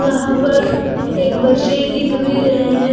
यहां पर एक बच्चे लिख भी रहे हैं।